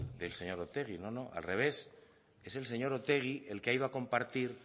del señor otegi no no al revés es el señor otegi el que ha ido a compartir